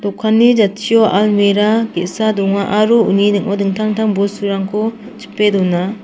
dokanni jatchio almira ge·sa donga aro uni ning·o dingtang-dingtang bosturangko chipe dona.